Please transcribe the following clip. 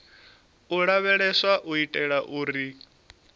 u lavheleswa u itela uri